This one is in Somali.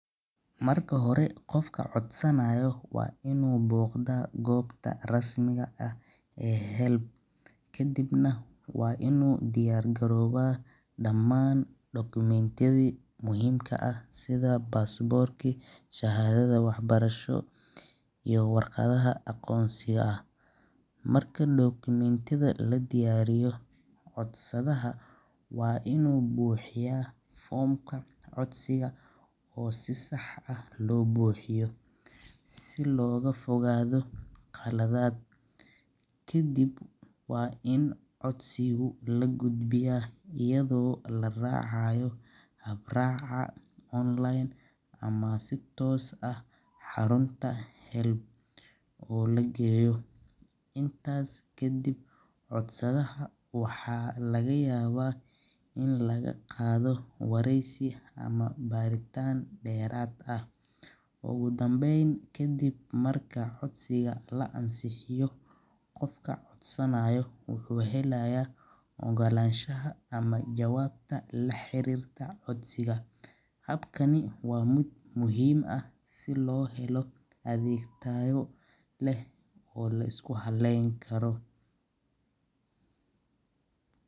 Marka hore qofka waa inuu boda gobta rasmiga ah, inuu diyaariya damaan documentyada, waa inuu buxiya foomka codsiga, kadib waa in lahubiya si toos ah xarunta lageeyo, waxaa laga yaaba in laga qaado wareysi iyo baaritaan, wuxuu helaaya ogolashaha, su loo helo adeeg tayo leh oo laisku haleen Karo.